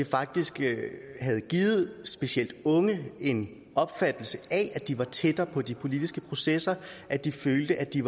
faktisk havde givet specielt unge en opfattelse af at de var tættere på de politiske processer at de følte at de